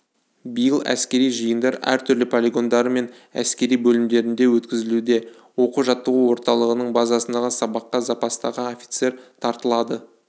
биыл әскери жиындар әртүрлі полигондары мен әскери бөлімдерінде өткізілуде оқу-жаттығу орталығының базасындағы сабаққа запастағы офицер тартылады